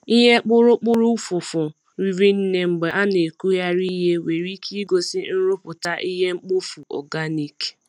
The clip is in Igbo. Ihe kpụrụkpụrụ ụfụfụ riri nne mgbe a na-ekugharị ihe nwere ike igosi nrụpụta ihe mkpofu organic.